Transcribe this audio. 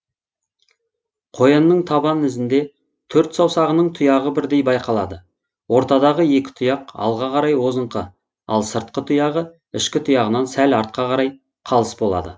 қоянның табан ізінде төрт саусағының тұяғы бірдей байқалады ортадағы екі тұяқ алға қарай озыңқы ал сыртқы тұяғы ішкі тұяғынан сәл артқа қарай қалыс болады